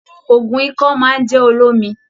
Òògùn ikọ́ máa n jẹ olómi.